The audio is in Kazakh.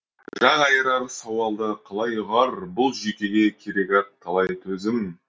жақ айырар сауалды қалай ұғар бұл жүйкеге керек ақ талай төзім